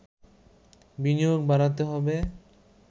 বিনিয়োগ বাড়াতে হবে